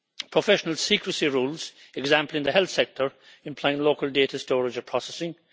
professional secrecy rules, for example in the health sector, implying local data storage and processing